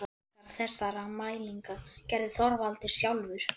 Margar þessara mælinga gerði Þorvaldur sjálfur.